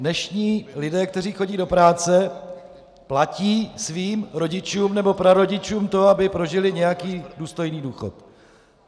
Dnešní lidé, kteří chodí do práce, platí svým rodičům nebo prarodičům to, aby prožili nějaký důstojný důchod.